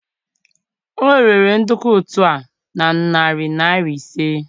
o rere nduku ut o na narị naira ise.